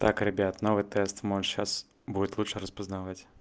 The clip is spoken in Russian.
так ребят новый тест может сейчас будет лучше распознавать